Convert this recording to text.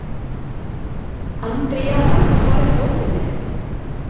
Andríana, hvar er dótið mitt?